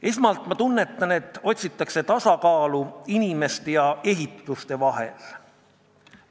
Esmalt ma tunnetan, et otsitakse tasakaalu inimeste ja ehituste vahel.